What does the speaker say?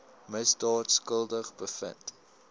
misdaad skuldig bevind